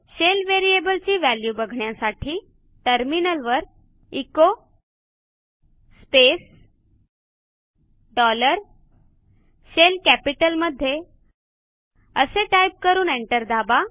shell variable ची value बघण्यासाठी टर्मिनलवर एचो स्पेस डॉलर शेल कॅपिटलमध्ये असे टाईप करून एंटर दाबा